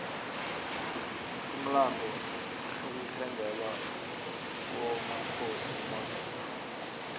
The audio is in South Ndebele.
kumlando ukuthengelwa kwomakhosi imodexe